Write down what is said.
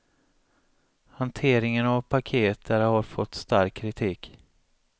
Hanteringen av paket där har fått stark kritik.